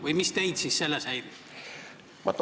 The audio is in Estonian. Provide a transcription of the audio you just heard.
Või mis teid selles häirib?